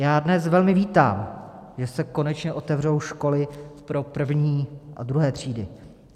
Já dnes velmi vítám, že se konečně otevřou školy pro první a druhé třídy.